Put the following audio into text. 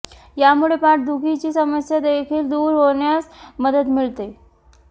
यामुळे पाठ दुखीची समस्या देखील दूर होण्यास मदत मिळते